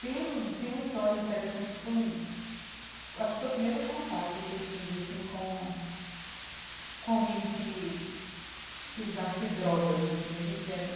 Tem um tem uma história interessante, acho que foi um acho que foi o primeiro contato que eu tive assim com com alguém que que usasse drogas assim a gente era.